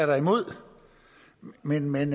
da imod men men